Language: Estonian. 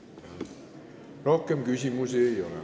Rohkem küsimusi ei ole.